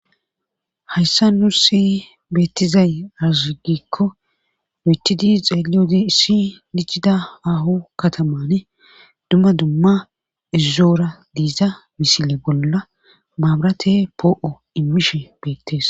hayssa nu si beettizay aruzugikko noytidi xeeliyode issi lichida aho katamane dumma dumma izzoora diiza misile bolla maabrate poo7o immishe beettees